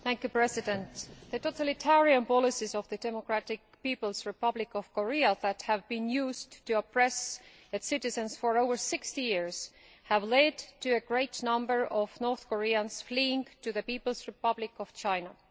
Mr President, the totalitarian policies of the Democratic People's Republic of Korea, which have been used to oppress its citizens for over 60 years, have led to a great number of North Koreans fleeing to the People's Republic of China.